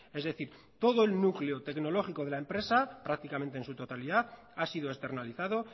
es decir todo el núcleo tecnológico de la empresa prácticamente en su totalidad ha sido externalizado